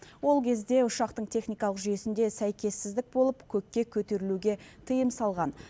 ол кезде ұшақтың техникалық жүйесінде сәйкессіздік болып көкке көтерілуге тыйым салған